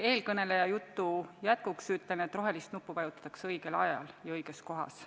Eelkõneleja jutu jätkuks ütlen, et rohelist nuppu vajutatakse õigel ajal ja õiges kohas.